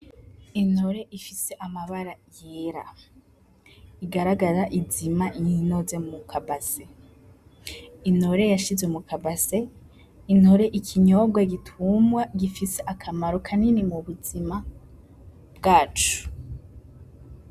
Intore ifise amabara yera igaragara izima iyinoze muka base intore yashizwe muka base intore ikinyobwa gitumwa gifise akamaro kanini mu buzima bwacu.